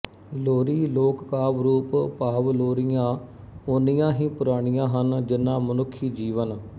ਲੋਰੀ ਲੋਕਕਾਵਿ ਰੂਪ ਭਾਵ ਲੋਰੀਆਂ ਉਨ੍ਹੀਆਂ ਹੀ ਪੁਰਾਣੀਆਂ ਹਨ ਜਿੰਨਾ ਮਨੁੱਖੀ ਜੀਵਨ